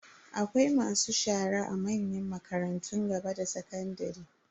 Akwai masu shara a manyan makarantun gaba da sakandare.